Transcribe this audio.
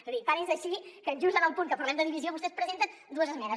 és a dir tant és així que just en el punt que parlem de divisió vostès presenten dues esmenes